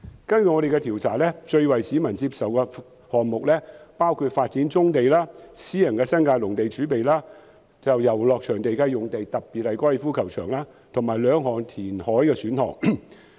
根據我們的調查結果，最為市民接受的選項包括發展棕地、新界私人農地儲備、遊樂場用地，以及兩項填海選項。